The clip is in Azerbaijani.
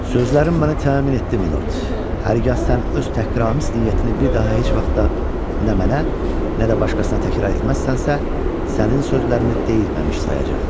Sözlərim mənə təmin etdi, Milord, hərgah sən öz təhqiramiz niyyətini bir daha heç vaxt da nə mənə, nə də başqasına təkrar etməzsənsə, sənin sözlərini deyilməmiş sayacam.